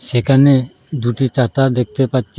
এখানে দুটি চাতা দেখতে পাচ্ছি।